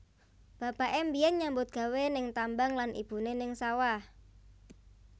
Bapaké mbiyen nyambut gawé ning tambang lan ibuné ning sawah